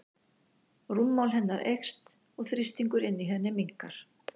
Rúmmál hennar eykst og þrýstingur inni í henni minnkar.